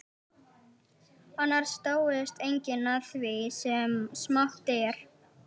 Annars dáist enginn að því sem smátt er.